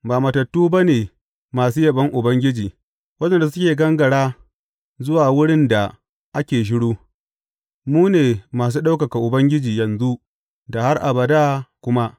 Ba matattu ba ne masu yabon Ubangiji, waɗanda suke gangara zuwa wurin da ake shiru; mu ne masu ɗaukaka Ubangiji, yanzu da har abada kuma.